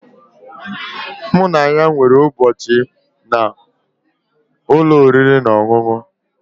Mụ na ya nwere ụbọchị na ụlọ oriri na ọṅụṅụ